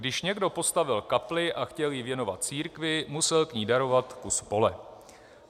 Když někdo postavil kapli a chtěl ji věnovat církvi, musel k ní darovat kus pole.